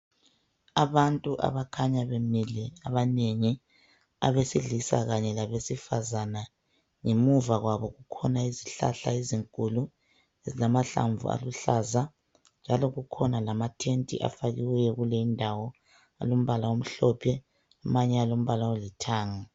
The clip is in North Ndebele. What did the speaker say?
Abantu abakhanya bemile abanengi abesilisa kanye labesifazana. Ngemuva kwabo kukhona izihlahla ezinkulu ezilamahlamvu aluhlaza njalo kukhona lamathenti afakiweyo kuleyindawo alombala omhlophe amanye alombala olithanga.